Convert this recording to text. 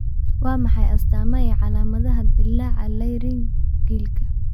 Waa maxay astaamaha iyo calaamadaha dillaaca Laryngealka?